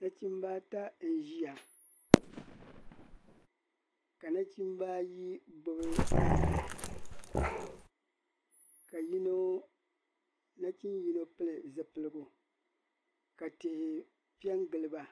Nachimba ata n ʒiya ka nachimba ayi gbubi tahapɔŋ ka yino ka nachn yino pili zulilgu ka tihi pe n gili ba